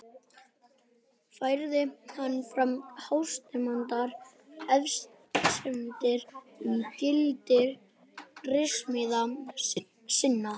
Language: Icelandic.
Færði hann fram hástemmdar efasemdir um gildi ritsmíða sinna.